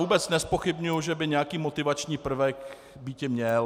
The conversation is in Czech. Vůbec nezpochybňuji, že by nějaký motivační prvek býti měl.